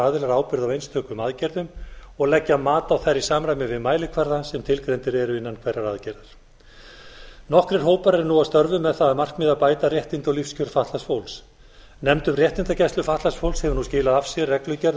aðilar ábyrgð á einstökum aðgerðum og leggja mat á þær í samræmi við mælikvarða sem tilgreindir eru innan hverrar aðgerðar nokkrir hópar eru nú að störfum með það að markmiði að bæta réttindi og lífskjör fatlaðs fólks nefnd um réttindagæslu fatlaðs fólks hefur nú skilað af sér reglugerð